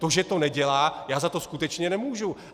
To, že to nedělá, já za to skutečně nemůžu.